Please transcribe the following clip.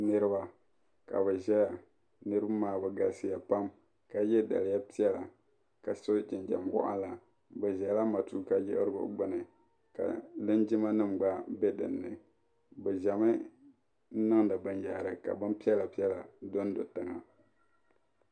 Niriba ka bi ʒeya niribi maa bɛ galisiya pam ka ye daliya piɛla ka so jinjam wɔɣila bɛ ʒela matuuka yiɣirigu gbuni ka linjimanim gba be din ni bɛ ʒemi niŋdi binyahari ka bin piɛla piɛla dondo tiŋa.